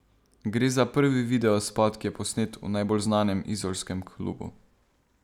Gre za prvi videospot, ki je posnet v najbolj znanem izolskem klubu.